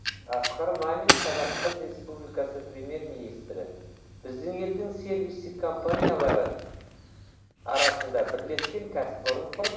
асқар мамин қазақстан республикасы премьер министрі біздің елдің сервистік компаниялары арасында бірлескен кәсіпорын құрып